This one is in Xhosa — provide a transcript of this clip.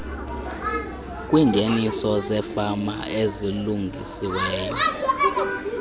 kwiingeniso zefama ezilungisiweyo